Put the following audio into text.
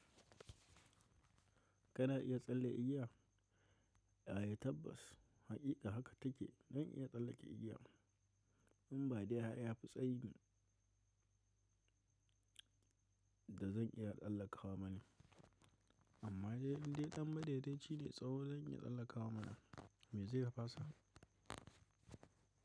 Kana iya tsalle igiya? Ai tabbas haƙiƙa haka take, zan iya tsallake igiya. In ba dai har ya fi tsayi da zan iya tsallakawa bane, amma dai ɗan in dai dan madaidaici ne tsawo zan iya tsallakawa mana. Me zai fasa?